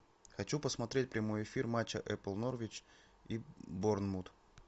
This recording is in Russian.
хочу посмотреть прямой эфир матча апл норвич и борнмут